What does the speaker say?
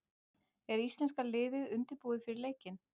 Er íslenska liðið undirbúið fyrir leikinn?